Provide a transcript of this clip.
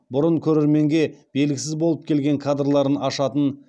бұрын көрерменге белгісіз болып келген кадрларын ашатын